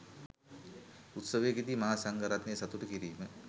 උත්සවයකදී මහා සංඝ රත්නය සතුටු කිරීම